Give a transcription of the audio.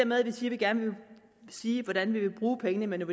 med at vi gerne vil sige hvordan vi vil bruge pengene men